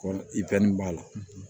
Kɔ i fɛn min b'a la